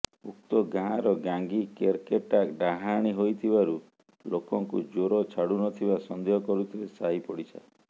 ଉକ୍ତ ଗାଁର ଗାଙ୍ଗୀ କେରକେଟା ଡାହାଣୀ ହୋଇଥିବାରୁ ଲୋକଙ୍କୁ ଜ୍ୱର ଛାଡ଼ୁନଥିବା ସନ୍ଦେହ କରୁଥିଲେ ସାହି ପଡ଼ିଶା